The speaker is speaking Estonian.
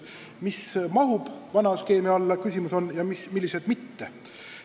Küsimus on, mis mahub vana skeemi alla ja mis mitte.